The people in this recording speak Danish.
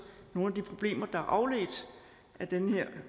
nogle af de problemer der er afledt af den her